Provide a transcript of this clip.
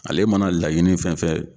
Ale mana laɲini fɛn fɛn